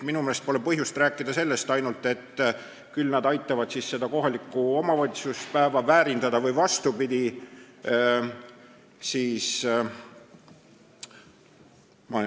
Minu meelest pole põhjust rääkida, et küll nad aitavad niimoodi kohaliku omavalitsuse päeva väärindada või vastupidi.